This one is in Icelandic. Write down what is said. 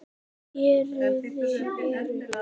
Héruðin eru